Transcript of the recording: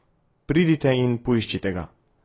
Pridite in poiščite ga!